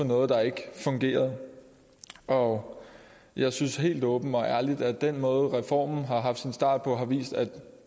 noget der ikke fungerede og jeg synes helt åbent og ærligt at den måde reformen har haft sin start på har vist at